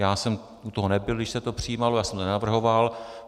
Já jsem u toho nebyl, když se to přijímalo, já jsem to nenavrhoval.